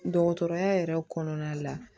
Dɔgɔtɔrɔya yɛrɛ kɔnɔna la